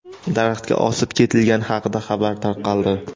daraxtga osib ketilgani haqida xabar tarqaldi.